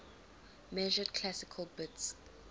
measured classical bits